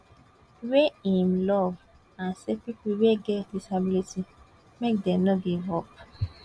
wey im love and say pipo wey get disability make dem no give up